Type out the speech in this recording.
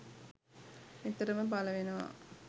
නිතරම පල වෙනවා